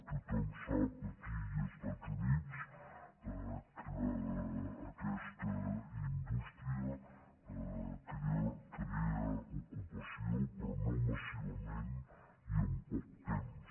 tothom sap aquí i als estats units que aquesta indústria crea ocupació però no massivament ni en poc temps